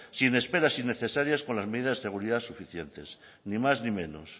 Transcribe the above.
sin esperas innecesarias con las medidas de seguridad suficientes ni más ni menos